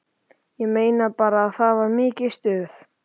Ég man bara að það var mikið stuð.